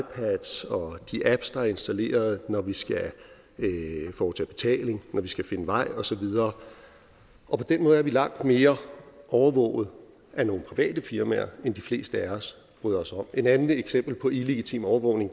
de apps der er installeret når vi skal foretage betaling når vi skal finde vej og så videre på den måde er vi langt mere overvåget af nogle private firmaer end de fleste af os bryder os om et andet eksempel på illegitim overvågning